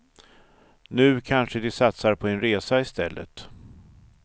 Nu kanske de satsar på en resa i stället.